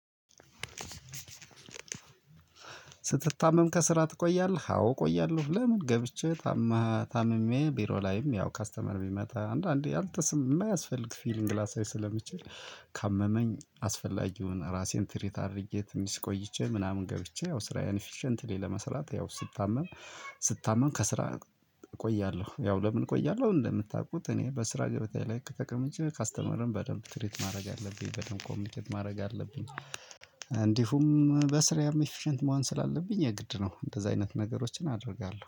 ስትታመም ከስራ ትቆያለህ አዎ እቆያለሁ። ለምን? ገብቼ ታመ ታምሜ ቢሮ ላይም ያው ከስተመር ቢመጣ አንዳንዴ አልተሰማ የማያስፈልግ ፊሊንግ ላሳይ ስለምችል። ካመመኝ አስፈላጊውን ራሴን ትሪት አድርጌ ትንሽ ቆይቼ ምናምን ገብቼ ያው ስራዬን ኢፊሸንትሊ ለመስራት ያው ስታመም። ስታመም ከስራ። እቆያለሁ ያው ለምን እቆያለሁ። እንደምታውቁት እኔ በስራ ገበታዬ ላይ ከ ተቀምጬ ከስተመርን በደንብ ትሪት ማድረግ አለብኝ በደንብ ኮሚኒኬት ማድረግ አለብኝ። እንዲሁም በስራዬም ኢፊሸንት መሆን ስላለብኝ የግድ ነው። እንደዚህ አይነት ነገሮችን አደርጋለሁ